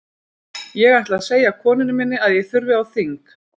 Ég ætla að segja konunni minni að ég þurfi á þing.